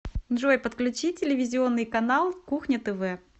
джой подключи телевизионный канал кухня тв